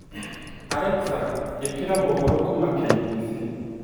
Alexa ikira mahoro kuuma k.b.c